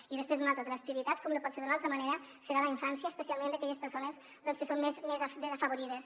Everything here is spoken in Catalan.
i després una altra de les prioritats com no pot ser d’una altra manera serà la infància especialment d’aquelles persones doncs que són més desafavorides